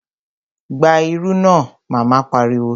Gba irú náà! Mama pariwo